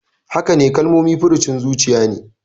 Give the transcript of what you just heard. Hakane, Kalmomi furucin zuciya ne.